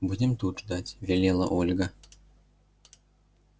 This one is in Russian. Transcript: будем тут ждать велела ольга